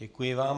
Děkuji vám.